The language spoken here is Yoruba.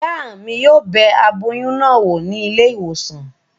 Ìyá mi yóò bẹ aboyún náà wò ní ilé ìwòsàn